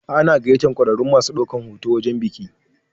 Ana gayyatar ƙwararrun masu ɗaukan hoto wajen biki.